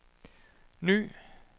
ny